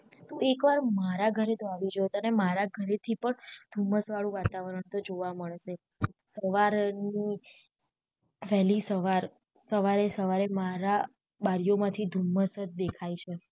તુ એક વાર મારા ઘરે તો આવી જો તને મારા ઘરે થી પણ ધુમ્મસ વાળું વાતાવરણ તો જોવા મળશે સવારનુ વહેલી સવાર સવારે સવારે મારા બારી ઓ માંથી ધુમ્મસ જ દેખાઈ છે